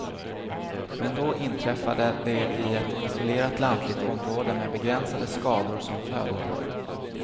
Med då inträffade det i ett isolerat lantligt område med begränsade skador som följd.